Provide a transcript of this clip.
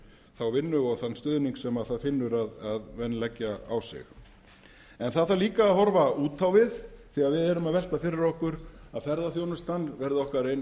þá vinnu og þann stuðning sem það finnur að menn leggja á sig en það þarf líka að horfa út á við því við erum að velta fyrir okkur að ferðaþjónustan verði okkar ein